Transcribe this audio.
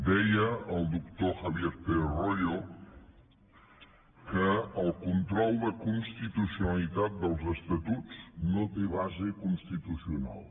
deia el doctor javier pérez royo que el control de constitucionalitat dels estatuts no té base constitucional